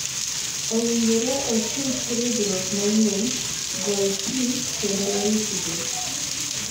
Owinjore otuch ridhruok manyien, gol pi, kendo oritgi.